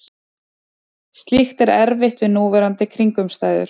Slíkt er erfitt við núverandi kringumstæður.